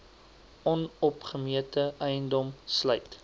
onopgemete eiendom sluit